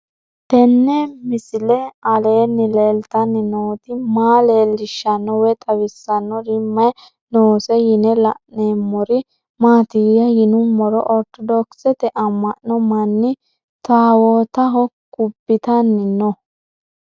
Tenni misile aleenni leelittanni nootti maa leelishshanno woy xawisannori may noosse yinne la'neemmori maattiya yinummoro orttodokisette ama'no manni tawoottaho kubbittanni noo